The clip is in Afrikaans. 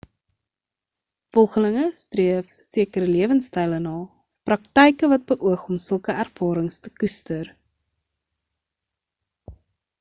volgelinge streef sekere lewenstyle na of praktyke wat beoog om sulke ervarings te koester